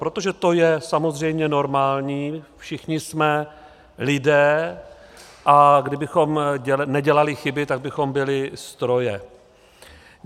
Protože to je samozřejmě normální, všichni jsme lidé, a kdybychom nedělali chyby, tak bychom byli stroje.